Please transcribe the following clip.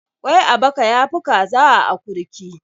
Kwai a baka ya fi Kaza a akurki.